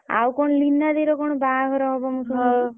ଆଉ କଣ ଲିନା ଦେଇ ର କଣ ବାହାଘର ହବ ମୁଁ ସୁଣୁଥିଲି।